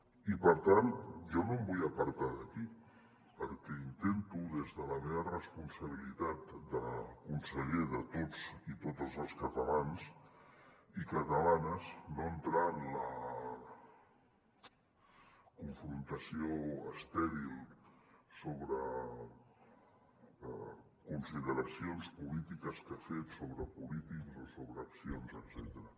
i per tant jo no em vull apartar d’aquí perquè intento des de la meva responsabilitat de conseller de tots i totes els catalans i catalanes no entrar en la confrontació estèril sobre consideracions polítiques que ha fet sobre polítics o sobre accions etcètera